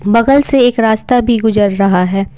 बगल से एक रास्ता भी गुजर रहा है।